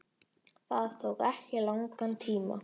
Það tók ekki langan tíma.